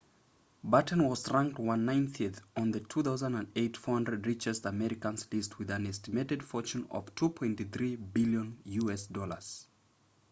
batten was ranked 190th on the 2008 400 richest americans list with an estimated fortune of $2.3 billion